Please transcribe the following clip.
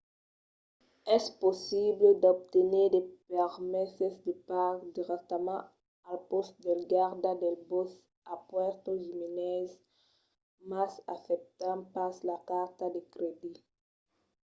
es possible d'obténer de permeses de parc dirèctament al pòst dels gardas del bòsc a puerto jiménez mas accèptan pas las cartas de crèdit